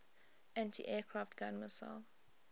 anti aircraft gun missile